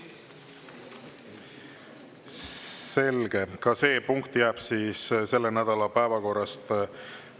Selge, ka see punkt jääb siis selle nädala päevakorrast.